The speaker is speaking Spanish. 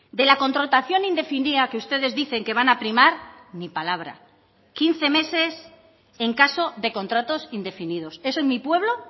de la contratación indefinida que ustedes dicen que van a primar ni palabra quince meses en caso de contratos indefinidos eso en mi pueblo